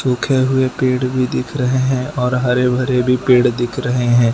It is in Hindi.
सूखे हुए पेड़ भी दिख रहे हैं और हरे भरे भी पेड़ दिख रहे हैं।